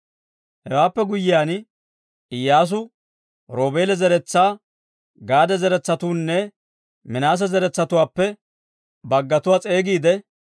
Hewaappe guyyiyaan Iyyaasu Roobeela zeretsaa, Gaade zaratuwaanne Minaase zaratuwaappe baggatuwaa s'eegiidde: